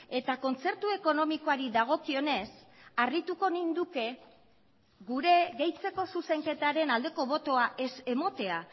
eta kontzertu ekonomikoari dagokionez harrituko ninduke gure gehitzeko zuzenketaren aldeko botoa ez ematea